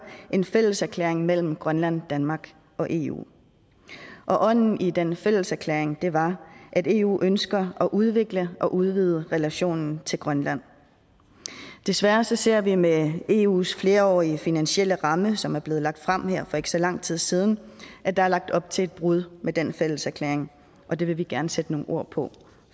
en fælleserklæring mellem grønland danmark og eu og ånden i den fælleserklæring var at eu ønsker at udvikle og udvide relationen til grønland desværre ser vi med eus flerårige finansielle ramme som er blevet lagt frem for ikke så lang tid siden at der er lagt op til et brud med den fælleserklæring og det vil vi gerne sætte nogle ord på